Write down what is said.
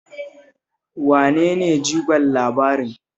Wane ne jigon labarin?